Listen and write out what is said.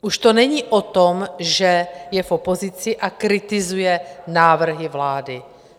Už to není o tom, že je v opozici a kritizuje návrhy vlády.